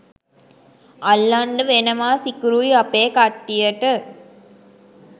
අල්ලන්ඩ වෙනවා සිකුරුයි අපේ කට්ටියට.